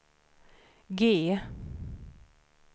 G